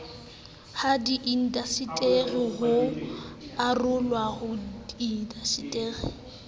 hadiindaseteri ho arolwa ha diindaseteri